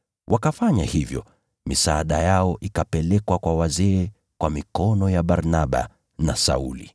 Wakafanya hivyo, misaada yao ikapelekwa kwa wazee kwa mikono ya Barnaba na Sauli.